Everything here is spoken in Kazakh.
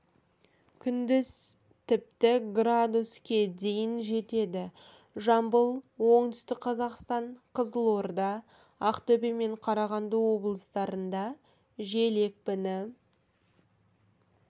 күндіз тіпті с-ге дейін жетеді жамбыл оңтүстік қазақстан қызылорда ақтөбе мен қарағанды облыстарында жел екпіні